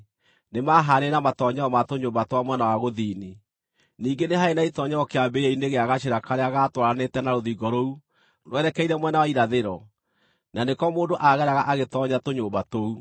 nĩmahaanaine na matoonyero ma tũnyũmba twa mwena wa gũthini. Ningĩ nĩ haarĩ na itoonyero kĩambĩrĩria-inĩ gĩa gacĩra karĩa gaatwaranĩte na rũthingo rũu rwerekeire mwena wa irathĩro, na nĩko mũndũ aageraga agĩtoonya tũnyũmba tũu.